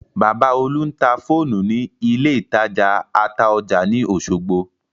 Bàbá Olú ń ta fóònù ní ilé ìtajà Ataoja ní Osogbo